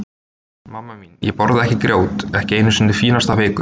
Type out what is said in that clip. Mamma mín, ég borða ekki grjót, ekki einu sinni fínasta vikur.